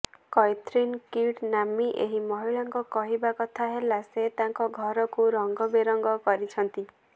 Kathryn Kidd ନାମ୍ନୀ ଏହି ମହିଳାଙ୍କ କହିବା କଥା ହେଲା ସେ ତାଙ୍କ ଘରକୁ ରଙ୍ଗ ବେରଙ୍ଗ କରିଛନ୍ତି